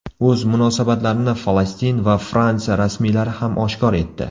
O‘z munosabatlarini Falastin va Fransiya rasmiylari ham oshkor etdi.